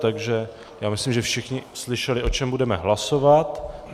Takže já myslím, že všichni slyšeli, o čem budeme hlasovat.